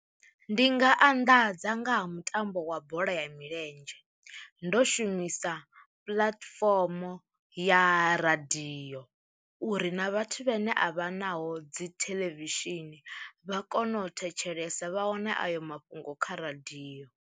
Ndi nga anḓadza nga ha mutambo wa bola ya milenzhe, ndo shumisa puḽatifomo ya radio uri na vhathu vhane a vha naho dzi theḽevishini vha kono u thetshelesa vha wane ayo mafhungo kha radio.